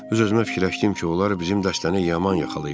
Öz-özümə fikirləşdim ki, onlar bizim dəstəni yaman yaxalayıblar.